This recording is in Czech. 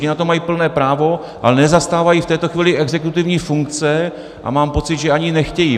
Ti na to mají plné právo, ale nezastávají v tuto chvíli exekutivní funkce a mám pocit, že ani nechtějí.